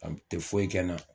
A kun tɛ foyi kɛ n na.